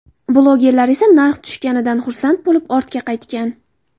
Blogerlar esa narx tushganidan xursand bo‘lib, ortga qaytgan.